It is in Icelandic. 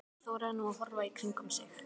Hann þorði nú að horfa í kringum sig.